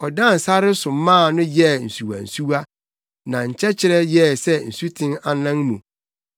Ɔdan sare so maa no yɛɛ nsuwansuwa na nkyɛkyerɛ yɛɛ sɛ nsuten anan mu;